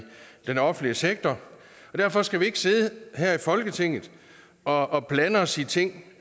den offentlige sektor og derfor skal vi ikke sidde her i folketinget og og blande os i ting